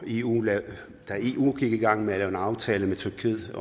eu i gang med at lave en aftale med tyrkiet